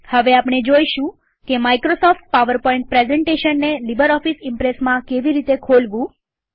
હવે આપણે જોઈશું કે માઈક્રોસોફ્ટ પાવરપોઈન્ટ પ્રેઝન્ટેશનને લીબરઓફીસ ઈમ્પ્રેસમાં કેવી રીતે ખોલવું